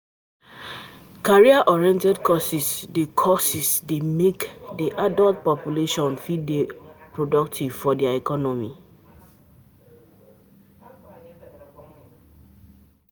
Career oriented courses dey courses dey make di adult population fit dey productive for di economy